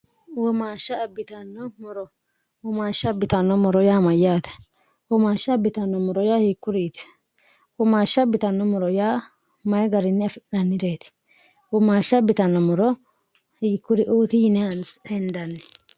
wumaashsha bitanno moro humaashsha bitanno moro yaa mayyaate humaashsha bitanno moro yaa hiikkuriiti umaashsha bitanno moro yaa mayi gariinni afi'nhannireeti umaashsha bitanno moro hiikkuriuuti yinihheendanni